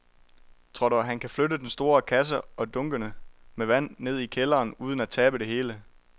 Tror du, at han kan flytte den store kasse og dunkene med vand ned i kælderen uden at tabe det hele?